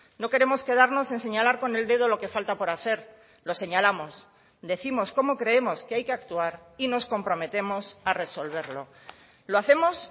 no queremos quedarnos en señalar con el dedo lo que falta por hacer los señalamos decimos cómo creemos que hay que actuar y nos comprometemos a resolverlo lo hacemos